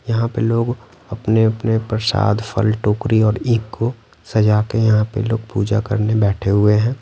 यहाँ पे लोग अपने-अपने प्रसाद फल टोकरी और ईख को सजा के यहाँ पे लोग पूजा करने बैठे हुए हैं।